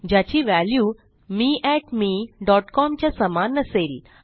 ज्याची व्हॅल्यू मे mecom च्या समान नसेल